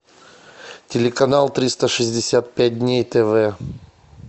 телеканал триста шестьдесят пять дней тв